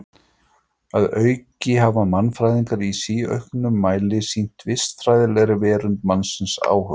Að auki hafa mannfræðingar í síauknum mæli sýnt vistfræðilegri verund mannsins áhuga.